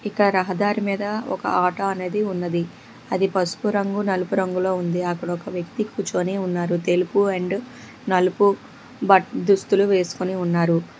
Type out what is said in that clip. ఇక్కడ రహదారి మీద ఒక ఆటో అనేది ఉన్నది అది పసుపు రంగు నలుపు రంగులో ఉంది అక్కడ ఒక వ్యక్తి కూర్చొని ఉన్నారు తెలుపు అండ్ నలుపు దుస్తులు వేవేసుకొని ఉన్నారు.